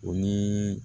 O ni